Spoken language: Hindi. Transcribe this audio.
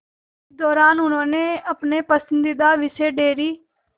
इस दौरान उन्होंने अपने पसंदीदा विषय डेयरी